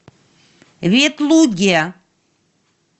ветлуге